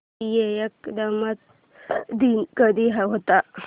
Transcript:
राष्ट्रीय एकात्मता दिन कधी येतो